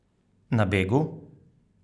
Na begu?